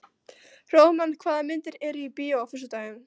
Hróðmar, hvaða myndir eru í bíó á föstudaginn?